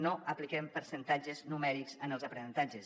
no apliquem percentatges numèrics en els aprenentatges